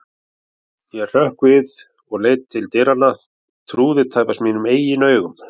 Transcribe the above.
Ég hrökk við og leit til dyranna, trúði tæpast mínum eigin augum.